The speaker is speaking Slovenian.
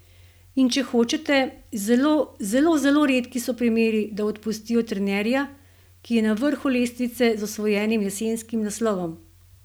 In če hočete, zelo, zelo, zelo redki so primeri, da odpustijo trenerja, ki je na vrhu lestvice z osvojenim jesenskim naslovom!